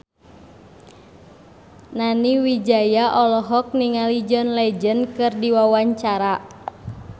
Nani Wijaya olohok ningali John Legend keur diwawancara